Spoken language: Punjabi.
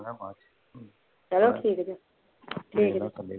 ਚੱਲੋ ਠੀਕ ਜੀ ਠੀਕ ਜੀ